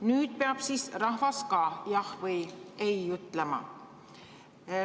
Nüüd peab siis rahvas ka jah või ei ütlema.